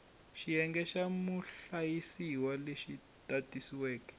xiyenge xa muhlayisiwa lexi tatiweke